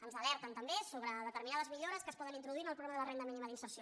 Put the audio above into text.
ens alerten també sobre determinades millores que es poden introduir en el programa de la renda mínima d’inserció